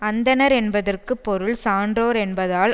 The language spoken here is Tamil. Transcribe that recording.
அந்தணர் என்பதற்கு பொருள் சான்றோர் என்பதால்